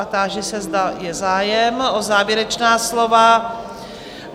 A táži se, zda je zájem o závěrečná slova?